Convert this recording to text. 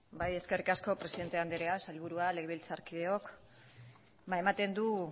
eskerrik asko presidente anderea sailburua legebiltzarkideok ematen du